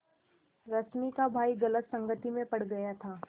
रश्मि का भाई गलत संगति में पड़ गया था